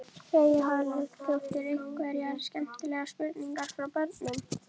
Freyja Haraldsdóttir: Einhverjar skemmtilegar spurningar frá börnum?